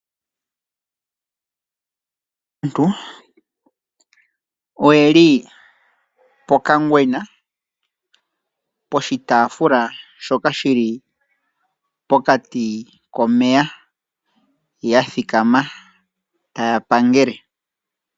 Aantu oyeli pokangwena poshitaafula shoka shili pokati komeya ya thikama taya pangele.